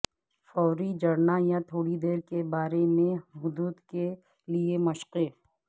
فوری جڑنا یا تھوڑی دیر کے بارے میں حدوں کے لئے مشقیں